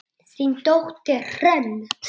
Þín dóttir, Hrönn.